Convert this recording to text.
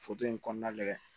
in kɔnɔna lajɛ